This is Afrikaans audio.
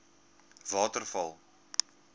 waterval